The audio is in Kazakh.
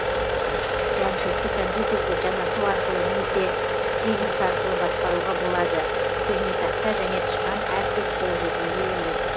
планшетті компьютерді жанасу арқылы немесе стилус арқылы басқаруға болады пернетақта және тышқан әркез қолжетімді емес